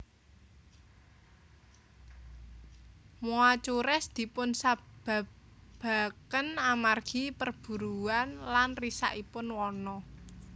Moa cures dipunsababaken amargi perburuaan lan risakipun wana